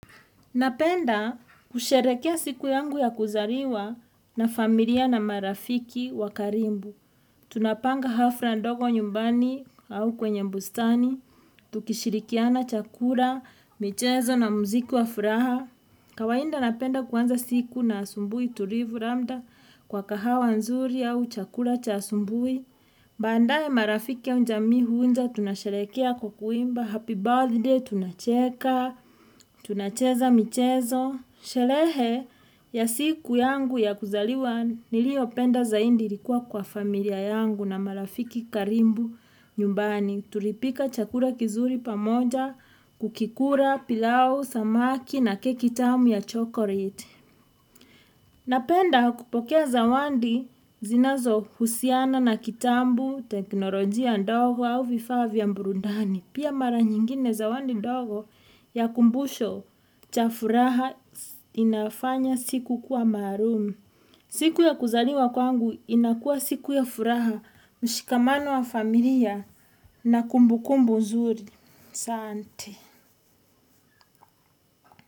Napenda kusherekea siku yangu ya kuzariwa na familia na marafiki wa karimbu. Tunapanga hafra ndogo nyumbani au kwenye mbustani. Tukishirikiana chakura, michezo na muziki wa furaha. Kawainda napenda kuanza siku na asumbui tulivu ramnda kwa kahawa nzuri au chakura cha asumbui. Baandaye marafiki au njamii huunja tunasherehekea kwa kuimba. Happy birthday tunacheka. Tunacheza michezo Shelehe ya siku yangu ya kuzaliwa niliyopenda zaindi likuwa kwa familia yangu na marafiki karimbu nyumbani Tulipika chakura kizuri pamoja kukikura pilau, samaki na keki tamu ya chokoreti Napenda kupokea zawandi zinazohusiana na kitambu, teknolojia ndogo au vifaa vya mburundani Pia mara nyingine zawandi dogo ya kumbusho cha furaha inafanya siku kuwa maruum. Siku ya kuzaliwa kwangu inakuwa siku ya furaha mshikamano wa familia na kumbukumbu mzuri.asanti